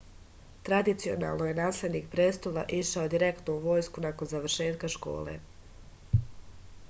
tradicionalno je naslednik prestola išao direktno u vojsku nakon završetka škole